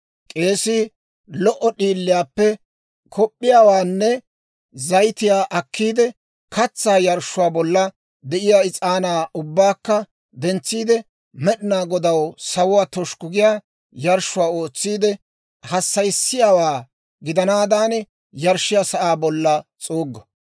K'eesii lo"o d'iiliyaappe kop'p'iyaawaanne zayitiyaa akkiide, katsaa yarshshuwaa bolla de'iyaa is'aanaa ubbaakka dentsiide, Med'inaa Godaw sawuwaa toshukku giyaa yarshshuwaa ootsiide, hassayissiyaawaa gidanaadan yarshshiyaa sa'aa bolla s'uuggo.